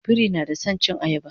biri na da San cin ayaba